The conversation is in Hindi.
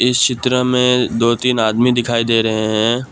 इस चित्र में दो तीन आदमी दिखाई दे रहे हैं।